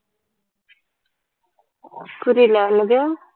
புரியல என்னது